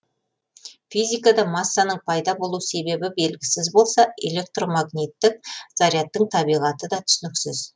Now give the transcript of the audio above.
физикада массаның пайда болу себебі белгісіз болса электромагниттік зарядтың табиғаты да түсініксіз